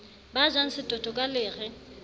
ba jang setoto ka lere